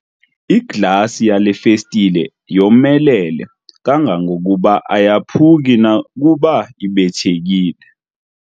Iglasi yale festile yomelele kangangokuba ayaphuki nokuba ibethekile.